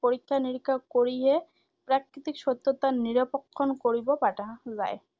পৰীক্ষা নিৰীক্ষা কৰিহে প্ৰাকৃিতিক সত্যতা নিৰূপক্ষণ কৰিব পাৰা যায়।